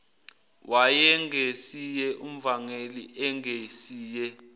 wayengesiye umvangeli engesiye